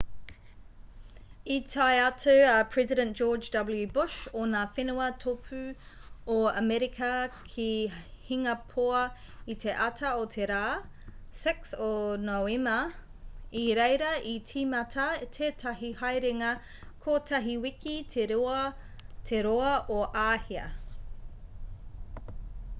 i tae atu a president george w bush o ngā whenua tōpū o amerika ki hingapoa i te ata o te rā 6 o noema i reira i tīmata tētahi haerenga kotahi wiki te roa o āhia